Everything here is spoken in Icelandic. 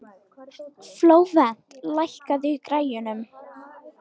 Flóvent, lækkaðu í græjunum.